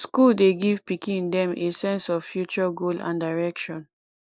school dey give pikin them a sense of future goal and direction